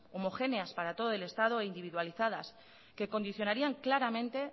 homogéneas para todo el estado e individualizadas que condicionarían claramente